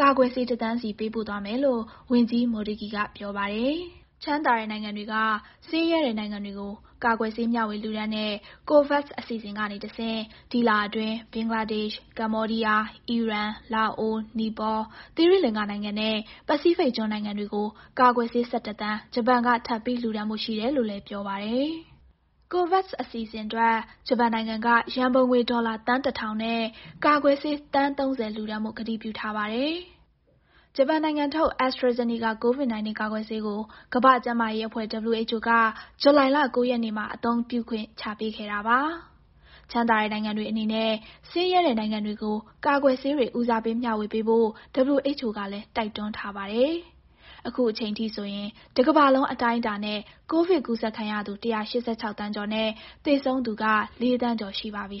ကာကွယ်ဆေး ၁ သန်းစီပေးပို့ သွားမယ်လို့ ဝန်ကြီး Motegi ကပြောပါတယ်။ ချမ်းသာတဲ့နိုင်ငံတွေက ဆင်းရဲတဲ့ နိုင်ငံတွေကို ကာကွယ်ဆေး မျှဝေ လှုဒါန်းတဲ့ COVAX အစီအစဉ်ကနေတဆင့် ဒီလအတွင်း ဘင်္ဂလားဒေ့ရှ်၊ ကမ္ဘောဒီးယား၊ အီရန်၊ လာအို၊ နီပေါ၊ သီရိလင်္ကာနိုင်ငံနဲ့ ပစိဖိတ်ကျွန်းနိုင်ငံတွေကို ကာကွယ်ဆေး ၁၁ သန်း ဂျပန်က ထပ်ပြီးလှုဒါန်းဖို့ရှိတယ်လို့လည်း ပြောပါတယ်။ COVAX အစီအစဉ်အတွက် ဂျပန်နိုင်ငံက ရန်ပုံငွေ ဒေါ်လာ သန်း ၁ ထောင်နဲ့ ကာကွယ်ဆေး သန်း ၃၀ လှူဒါန်းဖို့ ကတိပြုထားပါတယ်။ ဂျပန်နိုင်ငံထုတ် AstraZeneca COVID-19 ကာကွယ်ဆေးကို ကမ္ဘာ့ကျန်းမာရေးအဖွဲ့ WHO က ဇူလိုင်လ ၉ ရက်နေ့မှာ အသုံးပြုခွင့်ချပေးခဲ့တာပါ။ ချမ်းသာတဲ့ နိုင်ငံတွေအနေနဲ့ ဆင်းရဲတဲ့ နိုင်ငံတွေကို ကာကွယ်ဆေးတွေ ဦးစားပေးမျှဝေပေးဖို့ WHO ကလည်း တိုက်တွန်းထားပါတယ်။ အခုအချိန်ထိဆိုရင် တကမ္ဘာလုံး အတိုင်းအတာနဲ့ ကိုဗစ်ကူးစက်ခံရသူ ၁၈၆ သန်းကျော်နဲ့ သေဆုံးသူက ၄ သန်းကျော်ရှိပါပြီ။